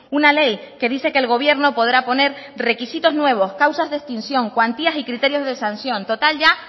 una ley que dice que el gobierno podrá poner requisitos nuevos causas de extinción cuantías y criterios de sanción total ya